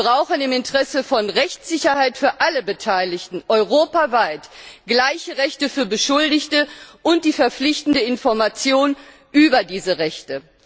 Wir brauchen im Interesse von Rechtssicherheit für alle Beteiligten europaweit gleiche Rechte für Beschuldigte und die verpflichtende Information über diese Rechte.